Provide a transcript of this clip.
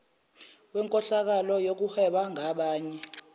wenkohlakalo yokuhweba ngabanye